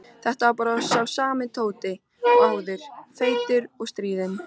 Þetta var bara sami Tóti og áður, feitur og stríðinn.